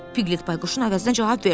Piqlet Bayquşun əvəzinə cavab verdi.